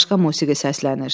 Başqa musiqi səslənir.